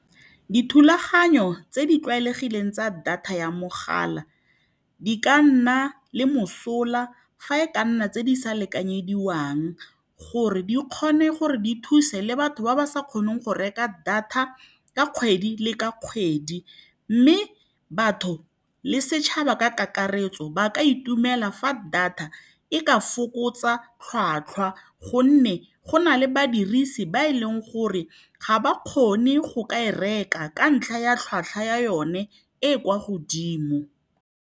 Dithulaganyo tse di tlwaelegileng tsa data ya mogala di ka nna le mosola fa e ka nna tse di sa lekanyediwang, gore di kgone go thusa batho ba ba sa kgoneng go reka data ka kgwedi le ka kgwedi. Mme batho le setšhaba ka kakaretso ba ka itumela fa data e ka fokotsa tlhwatlhwa, gonne go na le badirisi ba e leng gore ga ba kgone go e reka ka ntlha ya tlhwatlhwa ya yone e e kwa godimo.